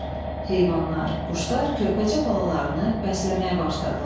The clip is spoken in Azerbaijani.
Heyvanlar, quşlar körpəcə balalarını bəsləməyə başladılar.